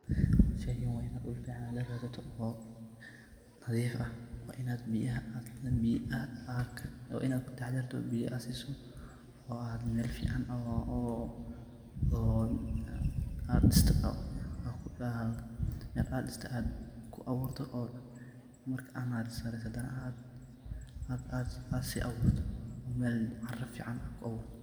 Sheygan waa inaad dhul fican la raadsato oo nadif ah, waa inaad kataxadarto biyaa aad siso oo mel fican aad dhisto oo aad ku aburto oo marka aad nasiriso aad si aburto cara fican o .